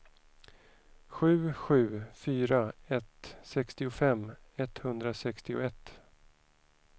sju sju fyra ett sextiofem etthundrasextioett